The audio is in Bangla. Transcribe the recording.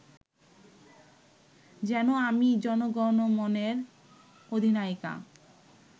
যেন আমিই জনগণমনের অধিনায়িকা